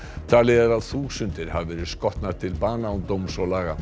talið er að þúsundir hafi verið skotnar til bana án dóms og laga